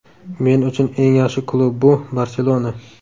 Men uchun eng yaxshi klub bu ‘Barselona’.